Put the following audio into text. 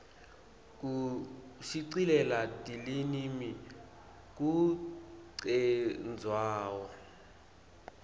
kushicilela tilinimi kucendzawo